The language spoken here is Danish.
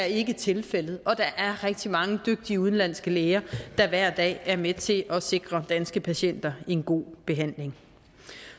ikke er tilfældet og at der er rigtig mange dygtige udenlandske læger der hver dag er med til at sikre danske patienter en god behandling